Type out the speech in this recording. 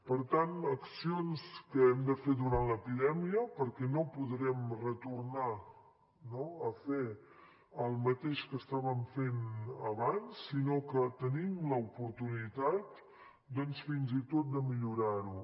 per tant accions que hem de fer durant l’epidèmia perquè no podrem retornar no a fer el mateix que estaven fent abans sinó que tenim l’oportunitat fins i tot de millorar ho